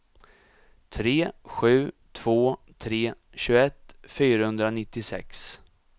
tre sju två tre tjugoett fyrahundranittiosex